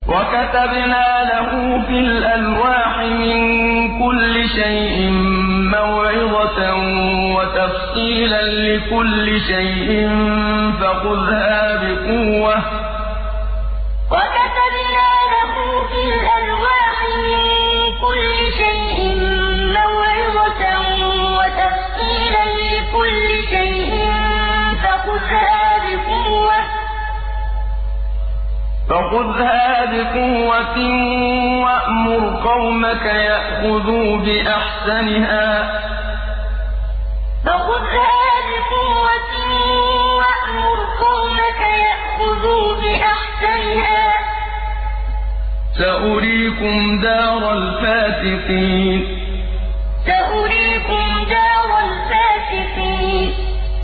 وَكَتَبْنَا لَهُ فِي الْأَلْوَاحِ مِن كُلِّ شَيْءٍ مَّوْعِظَةً وَتَفْصِيلًا لِّكُلِّ شَيْءٍ فَخُذْهَا بِقُوَّةٍ وَأْمُرْ قَوْمَكَ يَأْخُذُوا بِأَحْسَنِهَا ۚ سَأُرِيكُمْ دَارَ الْفَاسِقِينَ وَكَتَبْنَا لَهُ فِي الْأَلْوَاحِ مِن كُلِّ شَيْءٍ مَّوْعِظَةً وَتَفْصِيلًا لِّكُلِّ شَيْءٍ فَخُذْهَا بِقُوَّةٍ وَأْمُرْ قَوْمَكَ يَأْخُذُوا بِأَحْسَنِهَا ۚ سَأُرِيكُمْ دَارَ الْفَاسِقِينَ